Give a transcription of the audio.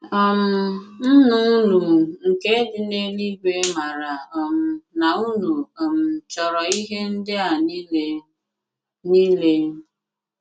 um Nnà unu nke dị n’èlùígwè màrà um nà unu um chọrọ̀ ihé ndị̀ a niile. niile.